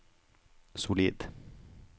solid